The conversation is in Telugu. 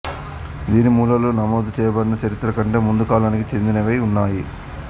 దీని మూలాలు నమోదుచేయబడిన చరిత్ర కంటే ముందుకాలానికి చెందినవై ఉన్నాయి